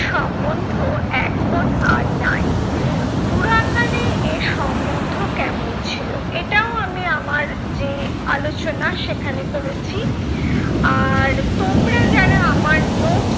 সম্বন্ধ এখন আর নাই। পুরাকালে এ সম্বন্ধ কেমন ছিল? এটাও আমি আমার যে আলোচনা সেখানে করেছি। আর তোমরা যারা আমার notes